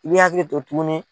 I b'i hakili to tuguni